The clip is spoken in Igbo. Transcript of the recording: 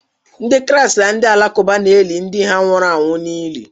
Ndị Kraịst na ndị Alakụba na-eli ndị ha nwụrụ anwụ n'ili.